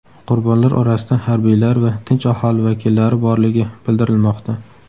Qurbonlar orasida harbiylar va tinch aholi vakillari borligi bildirilmoqda.